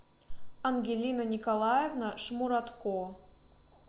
ангелина николаевна шмуратко